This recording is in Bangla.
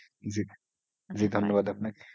জিজি ধন্যবাদ আপনাকে,